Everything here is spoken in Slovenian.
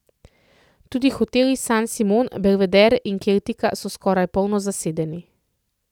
Tudi hoteli San Simon, Belvedere in Keltika so skoraj polno zasedeni.